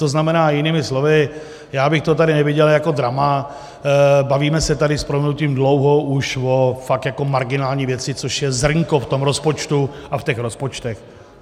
To znamená jinými slovy, já bych to tady neviděl jako drama, bavíme se tady s prominutím dlouho už o fakt jako marginální věci, což je zrnko v tom rozpočtu a v těch rozpočtech.